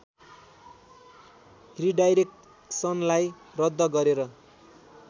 रिडाइरेक्सनलाई रद्द गरेर